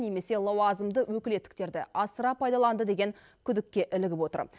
немесе лауазымды өкілеттіктерді асыра пайдаланды деген күдікке ілігіп отыр